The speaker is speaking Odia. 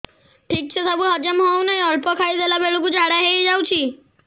ଠିକସେ ସବୁ ହଜମ ହଉନାହିଁ ଅଳ୍ପ ଖାଇ ଦେଲା ବେଳ କୁ ଝାଡା ହେଇଯାଉଛି